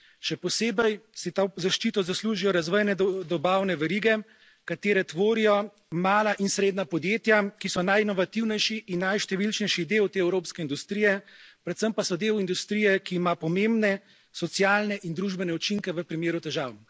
Še posebej si to zaščito zaslužijo razvejane dobavne verige, katere tvorijo mala in srednja podjetja, ki so najinovativnejši in najštevilčnejši del te evropske industrije, predvsem pa so del industrije, ki ima pomembne socialne in družbene učinke v primeru težav.